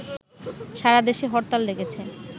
সারাদেশে হরতাল ডেকেছে